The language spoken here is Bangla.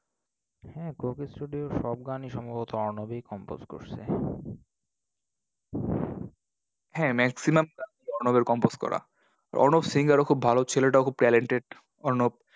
হ্যাঁ coco studio এর সব গানই সম্ভবত অর্ণবই compose করসে। হ্যাঁ maximum অর্ণবের compose করা। অর্ণব singer ও খুব ভালো। ছেলেটা খুব talented অর্ণব।